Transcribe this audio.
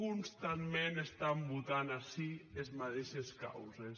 constantment estàn votant ací es madeishes causes